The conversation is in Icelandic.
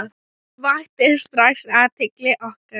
Hún vakti strax athygli okkar.